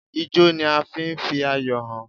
Ijọ́ ni a fi ń fi ayọ̀ hàn.